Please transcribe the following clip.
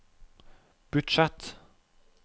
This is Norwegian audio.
budsjett